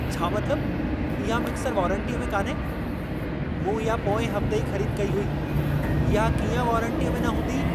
छा मतलबु, इहा मिक्सरु वारंटीअ में कान्हे? मूं इहा पोएं हफ्ते ई ख़रीद कई हुई। इहा कीअं वारंटीअ में न हूंदी?